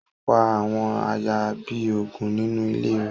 Ó pa àwọn àayan bi ógùn ninu ìlé rẹ